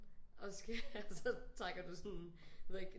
Og skal have så trækker du sådan en jeg ved ikke